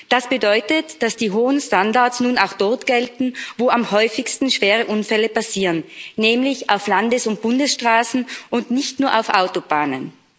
Das bedeutet, dass die hohen Standards nun auch dort gelten, wo am häufigsten schwere Unfälle passieren, nämlich auf Landes und Bundesstraßen und nicht nur auf Autobahnen.